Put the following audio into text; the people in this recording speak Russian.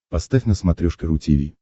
поставь на смотрешке ру ти ви